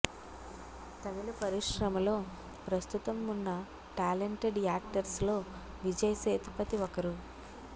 తమిళ పరిశ్రమలో ప్రస్తుతం ఉన్న టాలెంటెడ్ యాక్టర్స్లో విజయ్ సేతుపతి ఒకరు